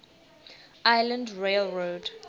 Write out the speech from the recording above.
island rail road